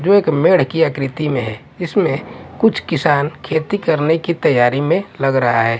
जो एक मेढ़ की आकृति में है इसमें कुछ किसान खेती करनें की तैयारी में लग रहा है।